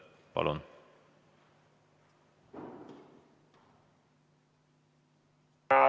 Palun!